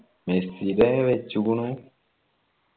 മെസ്സിടെ വെച്ചിക്കുണു